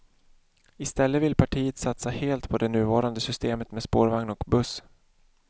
I stället vill partiet satsa helt på det nuvarande systemet med spårvagn och buss.